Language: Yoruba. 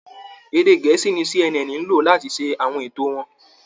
Èdè Gẹ̀ẹ́sì ni CNN ń lò láti ṣe àwọn ètò wọn